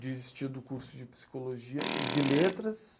Desisti do curso de psicologia, e de letras.